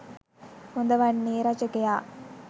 හොඳ වන්නේ රචකයා